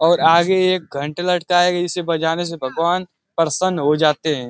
और आगे एक घंटा लटका है और इसे बजाने से भगवान प्रसन्न हो जाते हैं।